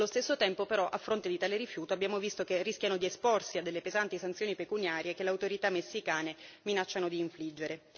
Allo stesso tempo però a fronte di tale rifiuto abbiamo visto che rischiano di esporsi a pesanti sanzioni pecuniarie che le autorità messicane minacciano di infliggere.